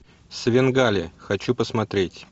свенгали хочу посмотреть